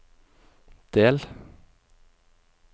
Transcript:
del